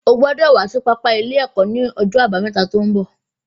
O gbọ́dọ̀ wá sí pápá ilé ẹ̀kọ́ ní ọjọ́ àbámẹ́ta tó ń bọ̀